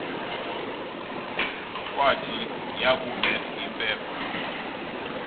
kwathi yakubeth impepho